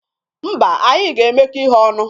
Mba, anyị ga-emekọ ihe ọnụ.